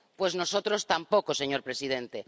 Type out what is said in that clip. Pues nosotros tampoco, señor presidente.